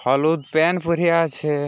হলুদ প্যান পরে আছে-এ।